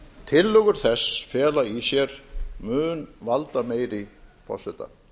tillögur þess fela í sér mun valdameiri forseta